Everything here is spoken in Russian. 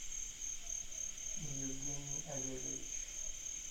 евгений олегович